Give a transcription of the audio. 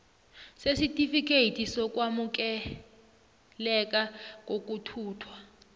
sesitifikethi sokwamukeleka kokuthuthwa